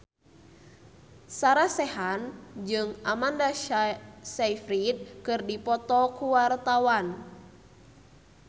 Sarah Sechan jeung Amanda Sayfried keur dipoto ku wartawan